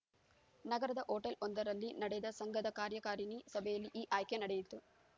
ನಗರದ ಹೋಟೆಲ್‌ವೊಂದರಲ್ಲಿ ನಡೆದ ಸಂಘದ ಕಾರ್ಯಕಾರಿಣಿ ಸಭೆಯಲ್ಲಿ ಈ ಆಯ್ಕೆ ನಡೆಯಿತು